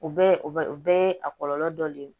O bɛɛ o bɛ o bɛɛ ye a kɔlɔlɔ dɔ de ye